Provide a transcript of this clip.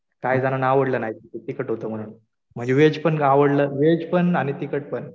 काही जणांना आवडलं नाही तिखट होतं म्हणून म्हणजे व्हेज पण आवडलं आणि तिखट पण